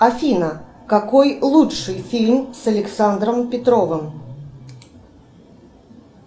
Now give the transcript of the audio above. афина какой лучший фильм с александром петровым